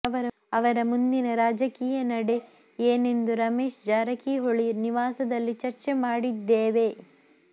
ಅವರ ಮುಂದಿನ ರಾಜಕೀಯ ನಡೆ ಏನೆಂದು ರಮೇಶ್ ಜಾರಕಿಹೊಳಿ ನಿವಾಸದಲ್ಲಿ ಚರ್ಚೆ ಮಾಡಿದ್ದೇವೆ